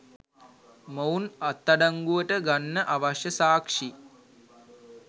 මොවුන් අත්අඩංගුවට ගන්න අවශ්‍ය සාක්ෂි